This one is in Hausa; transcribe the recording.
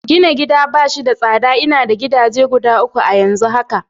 Gina gida bash da tsada, ina da gidaje guda uku a'yanzu haka.